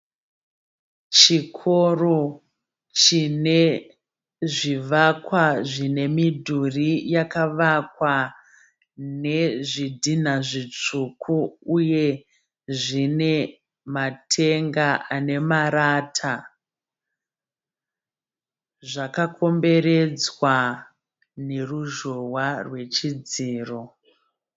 Chikoro chine zvivakwa zvine midhuri yakavakwa ne zvidhina zvitsvuku. Uye zvine matenga ane marata. Zvakakomberedzwa neruzhowa rwechidziro.